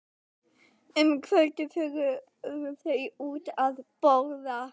Um kvöldið fóru þau út að borða.